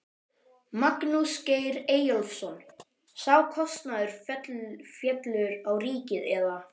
Magnús Geir Eyjólfsson: Sá kostnaður fellur á ríkið eða?